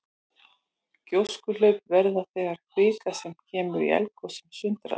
Gjóskuhlaup verða þegar kvika sem kemur upp í eldgosum sundrast.